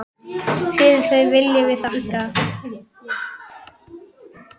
Fyrir það viljum við þakka.